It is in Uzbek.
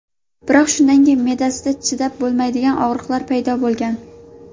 Biroq shundan keyin me’dasida chidab bo‘lmaydigan og‘riqlar paydo bo‘lgan.